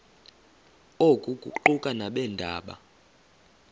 oku kuquka nabeendaba